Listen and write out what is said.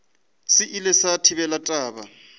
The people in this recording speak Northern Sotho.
se ile sa thabela taba